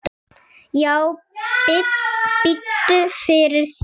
Já, biddu fyrir þér.